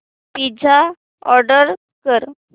pizza order कर